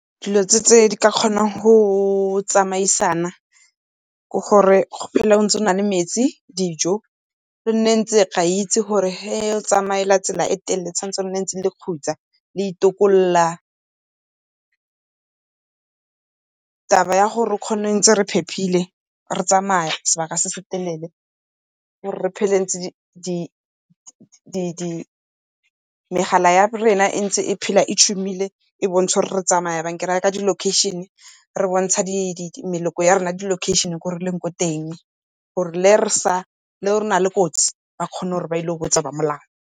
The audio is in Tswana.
Dilo tse di ka kgonang go tsamaisana ke gore go phele ntse o na le metsi, dijo re a itsi gore ge o tsamaya tsela e telele o tshwanetse le ntse le khutsa le itokolla. Taba ya gore re kgone ntse re phephile, re tsamaya sebaka se se telele, ke gore re phele ntse di megala ya rena e ntse e phela e tshumile e bontsha gore re tsamaya jang. Ke ra ka di-location, e re bontsha di ya rona ya di-location ko re leng teng, gore le ge re na le kotsi ba kgone gore ba ye go botsa ba molao.